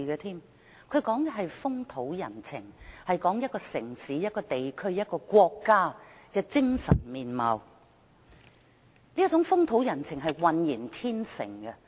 他說的是風土人情，是一個城市、一個地區、一個國家的精神面貌，而這種風土人情是渾然天成的。